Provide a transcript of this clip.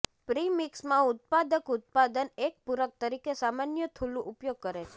પ્રિમિક્સમાં ઉત્પાદક ઉત્પાદન એક પૂરક તરીકે સામાન્ય થૂલું ઉપયોગ કરે છે